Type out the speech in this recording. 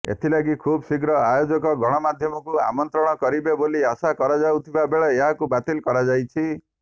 ଏଥିଲାଗି ଖୁବ୍ ଶୀଘ୍ର ଆୟୋଜକ ଗଣମାଧ୍ୟମଙ୍କୁ ଆମନ୍ତ୍ରିତ କରିବେ ବୋଲି ଆଶା କରାଯାଉଥିବା ବେଳେ ଏହାକୁ ବାତିଲ କରାଯାଇଛି